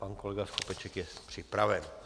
Pan kolega Skopeček je připraven.